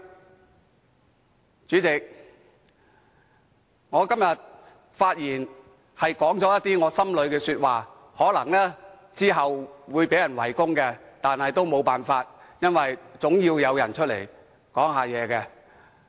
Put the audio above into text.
代理主席，我在今天的發言中說了一些心底話，可能之後會被人圍攻，但也沒有辦法，因為總要有人站出來表達意見。